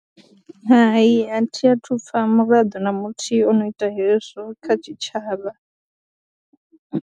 Hai a thi a thu u pfha muraḓo na muthihi o no ita hezwo kha tshitshavha.